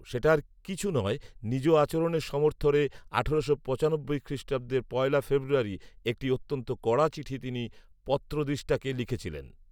সেটা আর কিছু নয়, নিজ আচরণের সমর্থনে আঠারোশো পঁচানব্বই খ্রিষ্টাব্দের পয়লা ফেব্রুয়ারী একটি অত্যন্ত কড়া চিঠি তিনি পত্রোদ্দিষ্টাকে লিখিয়াছিলেন